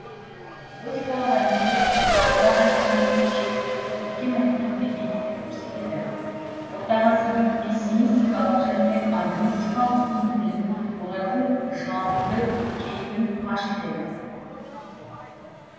готикалық әдебиет жоғарыда айтылған ерекшеліктерді көркем әдебиетте бейнелеп көрсетеді орта ғасырдың пессимистикалық және агностикалық көңіл күйін олардың жалыңды кейпін паш етеді